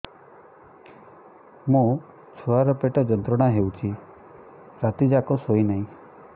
ମୋ ଛୁଆର ପେଟ ଯନ୍ତ୍ରଣା ହେଉଛି ରାତି ଯାକ ଶୋଇନାହିଁ